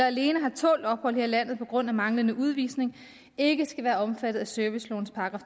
alene har tålt ophold her i landet på grund af manglende udvisning ikke skal være omfattet af servicelovens §